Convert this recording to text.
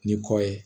Ni kɔ ye